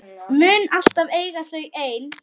Mun alltaf eiga þau ein.